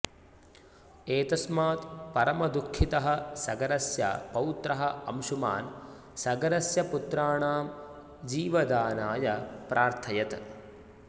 एतस्मात् परमदुःखितः सगरस्य पौत्रः अंशुमान् सगरस्य पुत्राणां जीवदानाय प्रार्थयत्